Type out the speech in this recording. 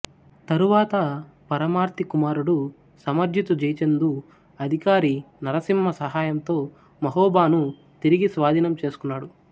తరువాత పరమార్ది కుమారుడు సమర్జితు జైచందు అధికారి నరసింహ సహాయంతో మహోబాను తిరిగి స్వాధీనం చేసుకున్నాడు